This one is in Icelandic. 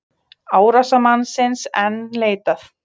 Árásarmannsins enn leitað